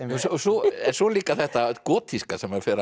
svo líka þetta gotíska sem hann fer